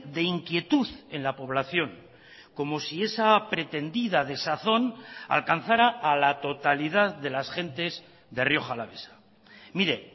de inquietud en la población como si esa pretendida desazón alcanzara a la totalidad de las gentes de rioja alavesa mire